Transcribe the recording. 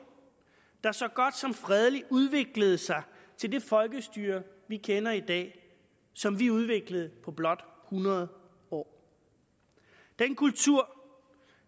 der så godt som fredeligt udviklede sig til det folkestyre vi kender i dag og som vi udviklede på blot hundrede år den kultur